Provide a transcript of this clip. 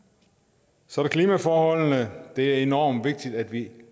så er der klimaforholdene det er enormt vigtigt at vi